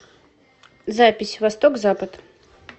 запись восток запад